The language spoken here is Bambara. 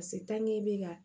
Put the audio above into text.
i bɛ ka